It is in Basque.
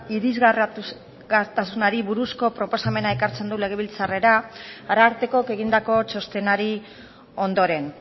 irisgarritasunari buruzko proposamena ekartzen du legebiltzarrera arartekok egindako txostenari ondoren